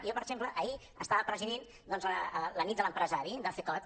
i jo per exemple ahir estava presidint doncs la nit de l’empresari de cecot